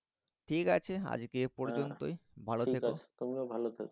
ঠিক আছে আজকে এই পর্যন্তই। ভালো থেকো। তুমিও ভালো থেকো